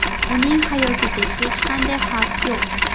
Uning hayotiga hech qanday xavf yo‘q.